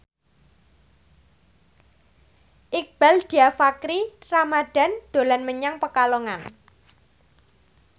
Iqbaal Dhiafakhri Ramadhan dolan menyang Pekalongan